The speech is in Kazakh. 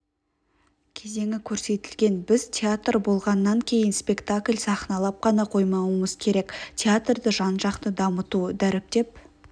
кезеңі көрсетілген біз театр болғаннан кейін спектакль сахналап қана қоймауымыз керек театрды жан-жақты дамыту дәріптеп